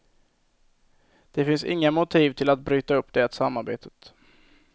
Det finns inga motiv till att bryta upp det samarbetet.